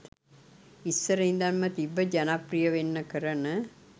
ඉස්සර ඉඳන්ම තිබ්බ ජනප්‍රිය වෙන්න කරන